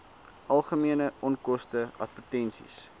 algemene onkoste advertensies